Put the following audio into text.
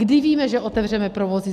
Kdy víme, že otevřeme provozy?